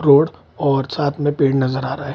Road और साथ में पेड़ नज़र आ रहा है।